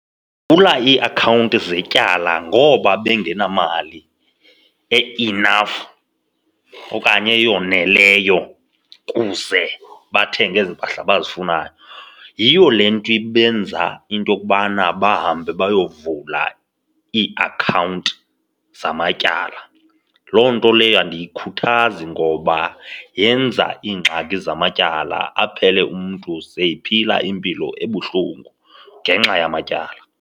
iiakhawunti zetyala ngoba bengenamali e-enough okanye eyoneleyo kuze bathenge ezi mpahla bazifunayo. Yiyo le nto ibenza into yokubana bahambe baye kuyovulo iiakhawunti zamatyala. Loo nto leyo andiyikhuthazi ngoba yenza iingxaki zamatyala, aphele umntu seyiphela impilo ebuhlungu ngenxa yamatyala.